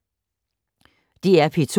DR P2